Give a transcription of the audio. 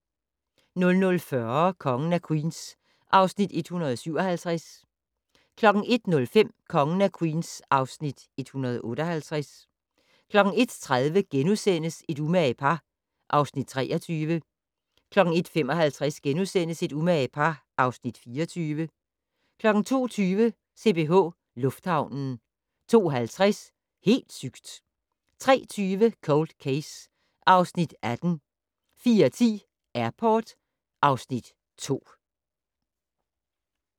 00:40: Kongen af Queens (Afs. 157) 01:05: Kongen af Queens (Afs. 158) 01:30: Et umage par (Afs. 23)* 01:55: Et umage par (Afs. 24)* 02:20: CPH Lufthavnen 02:50: Helt sygt! 03:20: Cold Case (Afs. 18) 04:10: Airport (Afs. 2)